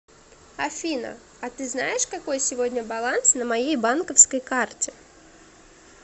афина а ты знаешь какой сегодня баланс на моей банковской карте